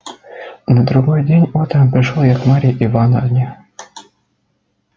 на другой день утром пришёл я к марье ивановне